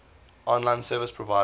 online service providers